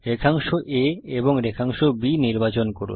রেখাংশ segment a এবং রেখাংশ সেগমেন্ট b নির্বাচন করুন